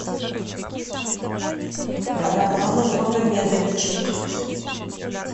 романом магомедовичем